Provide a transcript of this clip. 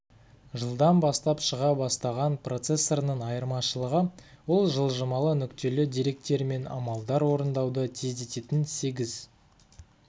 жылдан бастап шыға бастаған процессорының айырмашылығы ол жылжымалы нүктелі деректермен амалдар орындауды тездететін сегіз